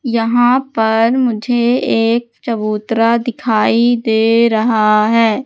यहां पर मुझे एक चबूतरा दिखाई दे रहा है।